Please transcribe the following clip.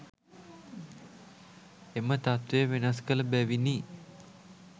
එම තත්වය වෙනස් කළ බැවිනි.